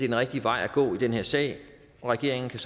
den rigtige vej at gå i den her sag og regeringen kan